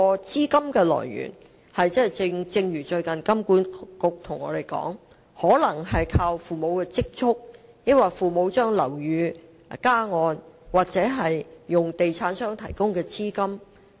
資金來源方面，香港金融管理局最近指出，買家可能是靠父母的積蓄資助、靠父母把物業加按，或利用地產商提供的按揭買樓。